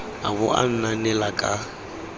a bo a anaanela ka